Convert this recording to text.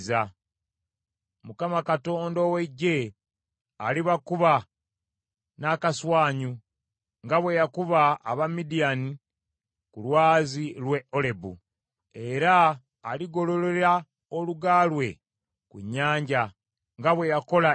Mukama Katonda ow’Eggye alibakuba n’akaswanyu nga bwe yakuba aba Midiyaani ku lwazi lw’e Olebu. Era aligololera oluga lwe ku nnyanja nga bwe yakola e Misiri.